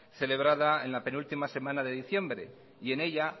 celebrada en la penúltima semana de diciembre en ella